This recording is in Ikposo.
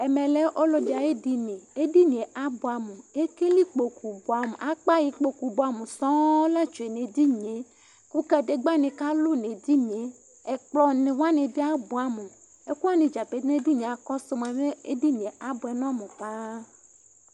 Ɛmɛ lɛ ɔlɔɖi ayu ɛɖini Ku ɛɖini yɛ abuɛ amu Ekele ikpóku buamu Akpa ikpóku buamu sɔŋ la tsue nu ɛɖini yɛ Ku kaɖegba ni kalu nu ɛɖini yɛ Ɛkplɔ ni waní bi abuɛ amu Ɛku waní dza pete nu ɛɖini yɛ, akɔsu mua, ɛɖini yɛ abuɛ nu ɔmu paaa